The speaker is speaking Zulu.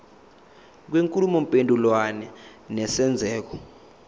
kwenkulumo mpendulwano nesenzeko